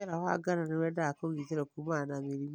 Mũmera wa ngano nĩwendaga kũgitĩrwo kuumana na mĩrimũ'